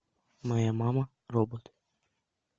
моя мама робот